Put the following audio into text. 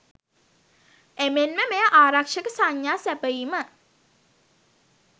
එමෙන්ම මෙය ආරක්ෂක සංඥා සැපයීම